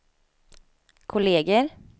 kolleger